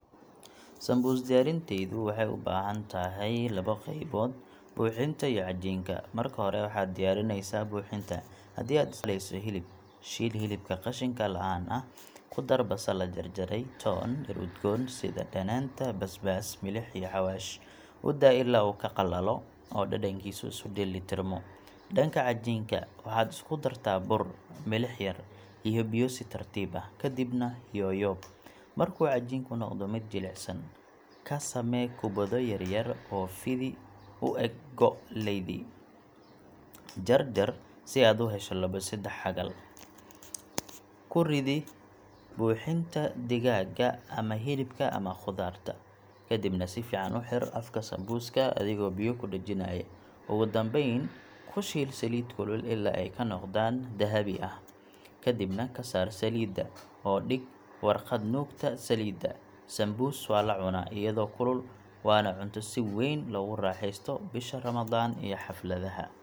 Sambuus diyaarinteedu waxay u baahan tahay labo qaybood: buuxinta iyo cajiinka. Marka hore, waxaad diyaarinaysaa buuxinta. Haddii aad isticmaalayso hilib, shiil hilibka qashinka la'aan ah, ku dar basal la jarjaray, toon, dhir udgoon sida dhanaanta, basbaas, milix iyo xawaash. U daa ilaa uu ka qalalo oo dhadhankiisu isu dheelitirmo. Dhanka cajiinka, waxaad isku dartaa bur, milix yar iyo biyo si tartiib ah, kadibna yooyob. Markuu cajiinku noqdo mid jilicsan, ka samee kubbado yaryar oo fidi u eg go’ leydi. Jar jar si aad u hesho labo saddex xagal. Ku ridi buuxintii digaagga ama hilibka ama khudaarta, kadibna si fiican u xidh afka sambuuska adigoo biyo ku dhejinaya. Ugu dambayn, ku shiil saliid kulul ilaa ay ka noqdaan dahabi ah. Kadibna ka saar saliidda, oo dhig warqad nuugta saliidda. Sambuus waa la cunaa iyadoo kulul, waana cunto si weyn loogu raaxeysto bisha Ramadaan iyo xafladaha.